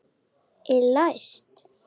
Er læst?